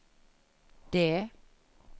det